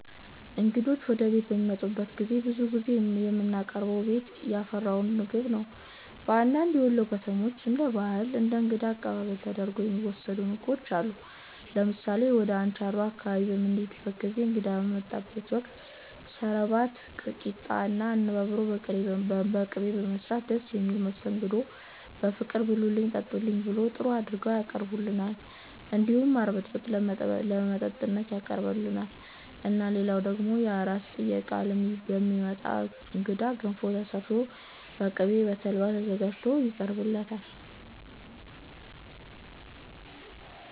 እንግዶች ወደ ቤት በሚመጡበት ጊዜ ብዙ ጊዜ የምናቀርበው ቤት ያፈራውን ምግብ ነው በአንዳንድ የወሎ ከተሞች እንደ ባህል ለ እንግዳ አቀባበል ተደርጎ የሚወሰዱ ምግቦችም አሉ ለምሳሌ ወደ አንቻሮ አካባቢ በምንሄድበት ጊዜ እንግዳ በሚመጣበት ወቅት ሰረባት ቂጣ እና አነባበሮ በቅቤ በመስራት ደስ በሚል መስተንግዶ በፍቅር ብሉልን ጠጡልን ብለው ጥሩ አርገው ያቀርቡልናል እንዲሁም ማር ብጥብጥ ለመጠጥነት ያቀርቡልናል እና ልላው ደግሞ የአራስ ጥየቃ ለሚመጣ እንግዳ ገንፎ ተሰርቶ በቅቤ እና በተልባ ተዘጋጅቶ ይቀርብለታል